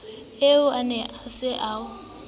eo na o ne o